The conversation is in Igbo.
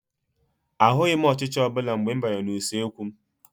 Ahụghị m ọchịcha ọbụla mgbe m banyere n'usekwu m.